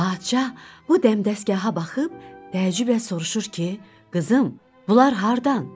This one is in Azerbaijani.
Padşah bu dəmdəsgaha baxıb təəccüblə soruşur ki, qızım, bunlar hardan?